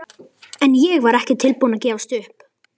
En ég var ekki tilbúin að gefast upp.